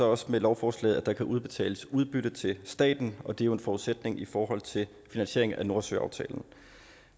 også med lovforslaget at der kan udbetales udbytte til staten og det jo er en forudsætning i forhold til finansieringen af nordsøaftalen